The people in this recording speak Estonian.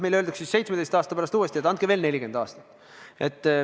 Meile ehk öeldakse 17 aasta pärast uuesti, et andke veel 40 aastat.